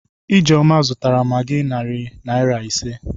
Ijeoma zụtara magị narị naịra ise